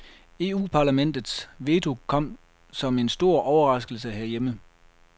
EUparlamentets veto kom som en stor overraskelse herhjemme.